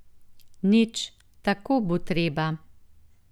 Nič, tako bo treba.